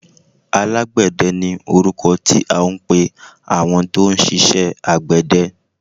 Alágbẹ̀dẹ ni orúkọ tí à ń pẹ àwọn tó ń ṣiṣẹ àgbẹ̀dẹ.